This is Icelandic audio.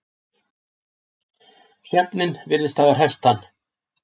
Svefninn virtist hafa hresst hann.